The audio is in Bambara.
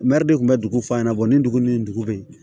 Mɛri de kun bɛ dugu fa ɲɛna ni dugu ni dugu be yen